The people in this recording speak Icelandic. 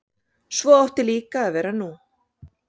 Svo átti líka að vera nú.